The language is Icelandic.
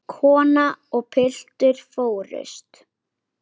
Kona og piltur fórust.